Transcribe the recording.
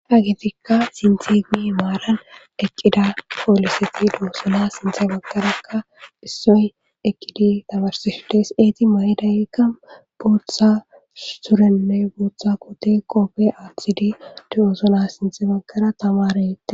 hagetikka sinti imi maaran eqqida pooliseti de7osona sinthe baggarakka issoy eqidi tamarseshe des eeti ma7edayeekka booththa surenne booththa kote qoope aathidi dooosona sinthe baggara tamareette